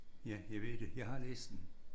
Ja jeg ved det. Jeg har læst den